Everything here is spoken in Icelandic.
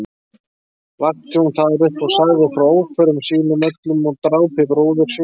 Vakti hún þar upp og sagði frá óförum sínum öllum og drápi bróður síns.